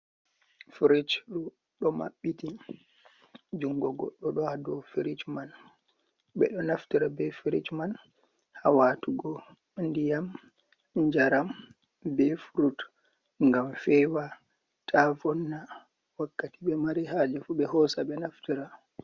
"Firish" ɗo maɓɓiti jungo goɗɗo ɗo ha dou firish man. Ɓeɗo naftira be firish man ha watugo ndiyam, njaram, be furut ngam fewa ta vonna. Wakkati ɓe mari haje fu ɓe hosa ɓe naftira.